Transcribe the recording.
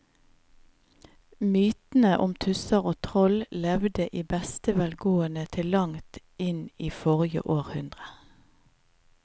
Mytene om tusser og troll levde i beste velgående til langt inn i forrige århundre.